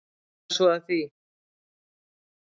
Hvað er svo að því?